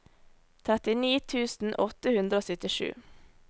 trettini tusen åtte hundre og syttisju